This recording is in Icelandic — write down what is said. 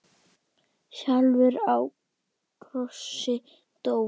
sjálfur á krossi dó.